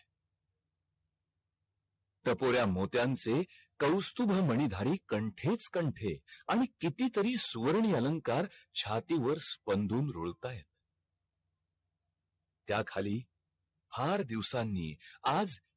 टपोर्या मोत्यांचे कौस्तुभ मणिधारीक कंठेच कंठे आणि किती तरीही सुवर्णीय अलंकार छाती वर स्पन्दरून रुळतायत त्या खाली फार दिवसांनी आज